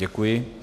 Děkuji.